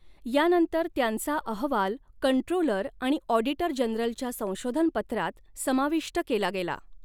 या नंतर त्यांचा अहवाल कंट्रोलर आणि ॲाडिटर जनरलच्या संशोधन पत्रात समाविष्ट केला गेला.